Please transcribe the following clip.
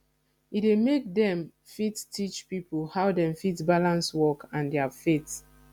e dey make dem fit teach pipo how dem fit balance work and their faith